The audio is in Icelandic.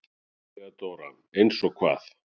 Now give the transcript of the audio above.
THEODÓRA: Eins og hvað?